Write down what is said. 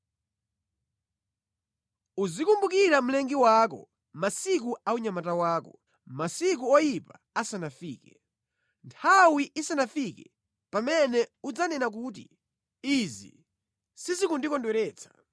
Uzikumbukira mlengi wako masiku a unyamata wako, masiku oyipa asanafike, nthawi isanafike pamene udzanena kuti, “Izi sizikundikondweretsa.”